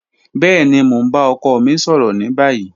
Bẹẹni, mo n ba ọkọ mi sọrọ ni bayi.